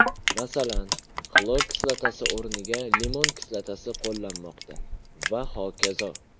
Masalan, xlor kislotasi o‘rniga limon kislotasi qo‘llanmoqda va hokazo.